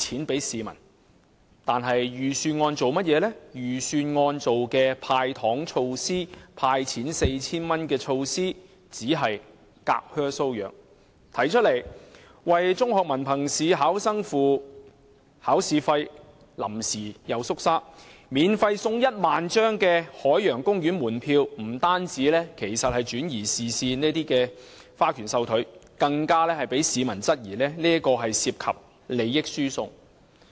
然而，預算案"派錢 "4,000 元的措施只是隔靴搔癢；提出為中學文憑試考生支付考試費又臨陣退縮；免費送出1萬張海洋公園門票，不單是轉移視線的花拳繡腿，更被市民質疑涉及利益輸送。